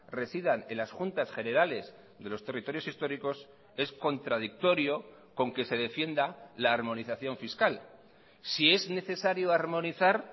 residan en las juntas generales de los territorios históricos es contradictorio con que se defienda la armonización fiscal si es necesario armonizar